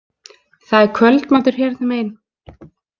Það er kvöldmatur hérna megin.